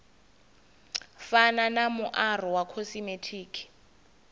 fana na muaro wa khosimetiki